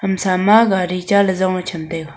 hamsam ma gari cha la jong cham taiga.